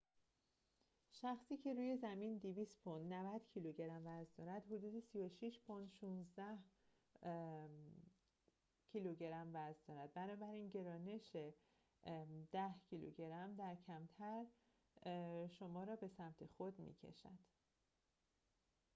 شخصی که روی زمین 200 پوند 90 کیلوگرم وزن دارد، حدود 36 پوند 16 کیلوگرم در lo وزن دارد. بنابراین گرانش کمتر شما را به سمت خود می‌کشد